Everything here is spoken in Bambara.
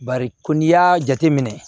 Bari ko n'i y'a jateminɛ